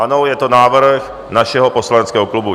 Ano, je to návrh našeho poslaneckého klubu.